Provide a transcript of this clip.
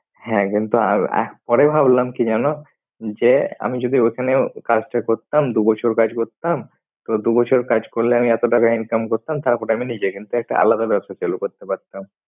হ্যাঁ কিন্তু আহ পরে ভাবলাম কি জানো? যে আমি যদি ওখানেও কাজটা করতাম দুবছর কাজ করতাম তো দুবছর কাজ করলে আমি এতো টাকা income করতাম। তারপর আমি নিজে কিন্তু একটা আলাদা ব্যবসা চালু করতে পারতাম।